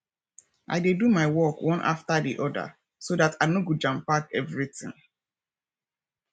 i dey do my work one after di oda so dat i no go jampack evritin